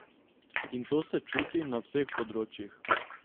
In to se čuti na vseh področjih.